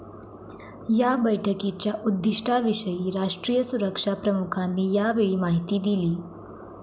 या बैठकीच्या उद्दिष्टाविषयी राष्ट्रीय सुरक्षा प्रमुखांनी यावेळी माहिती दिली